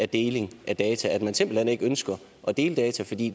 deling af data altså at man simpelt hen ikke ønsker at dele data fordi